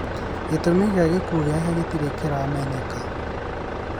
Gĩtũmi kĩa gĩkuũ gĩake gĩtirĩ kĩramenyeka.